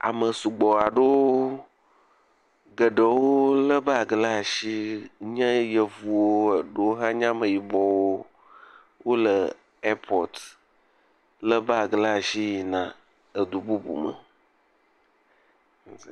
Ame sugbɔ aɖewo geɖewo lé bagi ɖe asi nye yevuwo eɖewo hã nye ameyibɔwo, wole airport. Lé bagi ɖe asi yina edu bubu me.